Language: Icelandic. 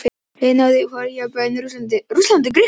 Liðið náði þó jafntefli gegn bæði Rússlandi og Grikklandi.